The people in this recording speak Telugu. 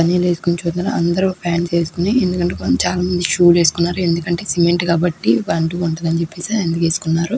బనెల్ వేసుకుని చూత్నరు అందరు పాంట్స్ వేస్కుని చాలామంది షూ లు వేసుకున్నారు ఎందుకంటే సిమెంట్ కాబట్టి అంటుకుంటదని చెప్పిసి అందుకు వేసుకున్నారు.